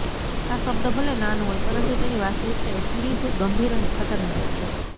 આ શબ્દ ભલે નાનો હોય પરંતુ તેની વાસ્તવિક્તા એટલી જ ગંભીર અને ખતરનાક છે